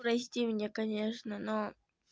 прости меня конечно но